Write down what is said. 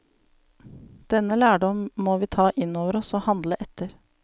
Denne lærdom må vi ta inn over oss og handle etter.